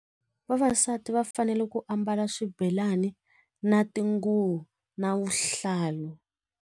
Vavasati va fanele ku ambala swibelani na tinguva na vuhlalu.